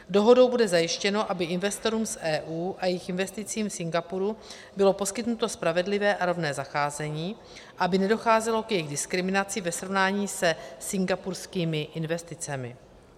Dohodou bude zajištěno, aby investorům z EU a jejich investicím v Singapuru bylo poskytnuto spravedlivé a rovné zacházení, aby nedocházelo k jejich diskriminaci ve srovnání se singapurskými investicemi.